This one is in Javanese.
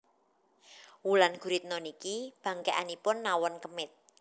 Wulan Guritno niki bangkekanipun nawon kemit